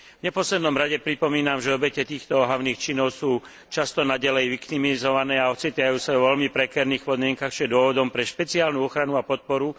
V neposlednom rade pripomínam, že obete týchto ohavných činov sú často naďalej viktimizované a ocitajú sa vo veľmi prekérnych podmienkach, čo je dôvodom pre špeciálnu ochranu a podporu.